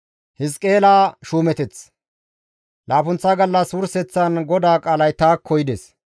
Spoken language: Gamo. Laappunththa gallas wurseththan GODAA qaalay taakko yides;